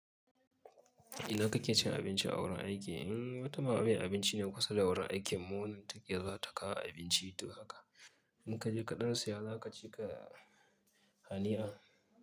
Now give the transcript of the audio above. Idan kake cin abinci a wurin aiki, in wata ma ba abinci ne kusa da wurin aiki mu wanda take zuwa ta kawo abinci, to haka muka je kaɗan saya za ka ci ka hania.